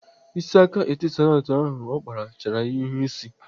Isi aka Etisalat ahụ ọ kpara chara ya ihu ịsị.